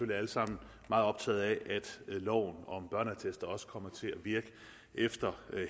alle sammen meget optaget af at loven om børneattester også kommer til at virke efter